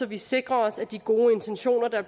vi sikrer os at de gode intentioner der